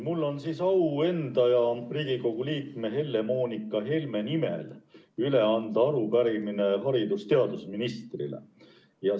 Mul on au enda ja Riigikogu liikme Helle-Moonika Helme nimel üle anda arupärimine haridus- ja teadusministrile.